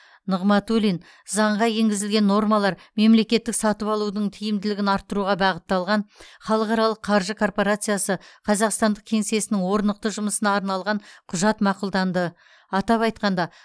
нығматулин заңға енгізілген нормалар мемлекеттік сатып алудың тиімділігін арттыруға бағытталған халықаралық қаржы корпорациясы қазақстандық кеңсесінің орнықты жұмысына арналған құжат мақұлданды атап айтқанда